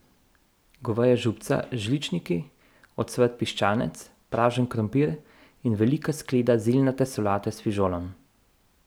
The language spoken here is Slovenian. Goveja župca z žličniki, ocvrt piščanec, pražen krompir in velika skleda zeljnate solate s fižolom.